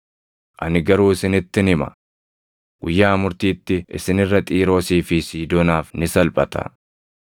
Ani garuu isinittin hima; guyyaa murtiitti isin irra Xiiroosii fi Siidoonaaf ni salphata.